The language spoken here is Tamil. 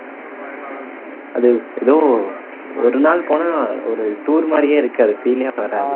அது ஏதோ ஒரு நாள் போனா ஒரு tour மாதிரியே இருக்காது feel லே வராது